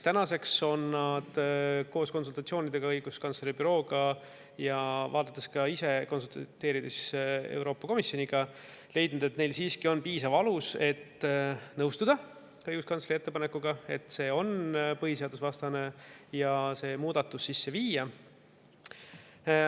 Tänaseks on nad konsultatsioonidele õiguskantsleri bürooga, vaadates ka ise ja konsulteerides Euroopa Komisjoniga, leidnud, et neil siiski on piisav alus, et nõustuda sellega, et see on põhiseadusvastane, ja et õiguskantsleri ettepaneku kohaselt see muudatus sisse viia.